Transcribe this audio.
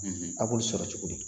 A' b'olu sɔrɔ cogo di